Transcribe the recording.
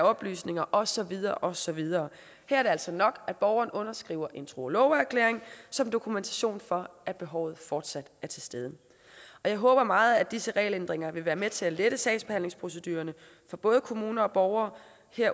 oplysninger og så videre og så videre det er altså nok at borgeren underskriver en tro og loveerklæring som dokumentation for at behovet fortsat er til stede jeg håber meget at disse regelændringer vil være med til at lette sagsbehandlingsprocedurerne for både kommuner og borgere